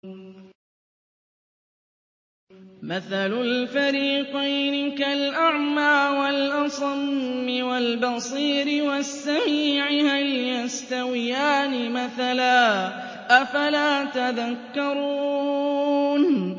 ۞ مَثَلُ الْفَرِيقَيْنِ كَالْأَعْمَىٰ وَالْأَصَمِّ وَالْبَصِيرِ وَالسَّمِيعِ ۚ هَلْ يَسْتَوِيَانِ مَثَلًا ۚ أَفَلَا تَذَكَّرُونَ